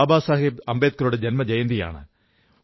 ബാബാസാഹബ് അംബേദ്കറുടെ ജന്മജയന്തിയാണ്